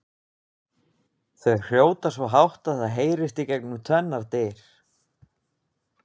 Þau hrjóta svo hátt að það heyrist gegnum tvennar dyr!